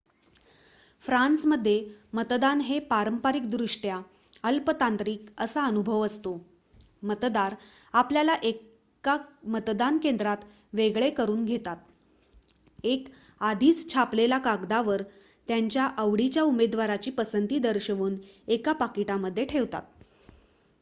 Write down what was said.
फ्रान्समध्ये मतदान हे पारंपरिक दृष्ट्या अल्प तांत्रिक असा अनुभव असतो मतदार आपल्याला एका मतदान केंद्रात वेगळे करून घेतात एक आधीच छापलेल्या कागदावर त्यांच्या आवडीच्या उमेदवाराची पसंती दर्शवून एका पाकिटामध्ये ठेवतात